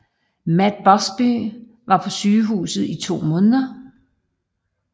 Matt Busby var på sygehuset i to måneder